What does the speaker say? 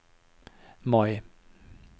Mai